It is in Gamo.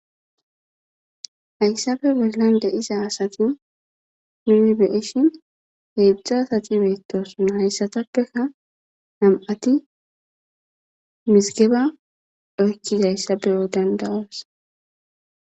Hayssabe berlande iza asati minnibeeshin heedzdzu asati beettosunna hayssatappeka nam'ati misigeba oykkizayssabeyo dandawosa